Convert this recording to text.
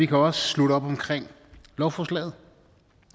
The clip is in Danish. kan også slutte op omkring lovforslaget